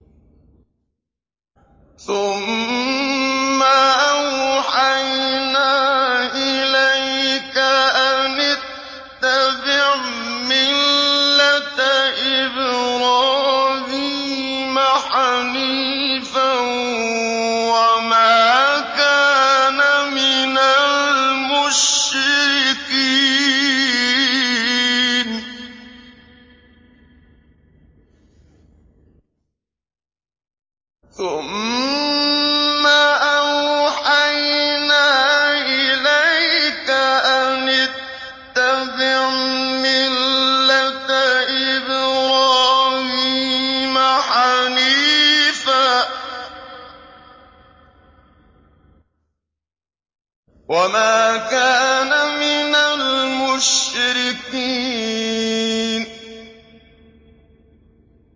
ثُمَّ أَوْحَيْنَا إِلَيْكَ أَنِ اتَّبِعْ مِلَّةَ إِبْرَاهِيمَ حَنِيفًا ۖ وَمَا كَانَ مِنَ الْمُشْرِكِينَ